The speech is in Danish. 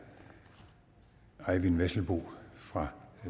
eyvind vesselbo fra